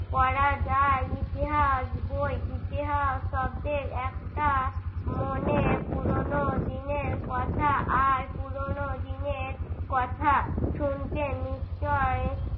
পড়া যায় ইতিহাস বই ইতিহাস শব্দের একটা মনে পুরনো দিনের কথা আর পুরনো দিনের কথা শুনতে নিশ্চয়ই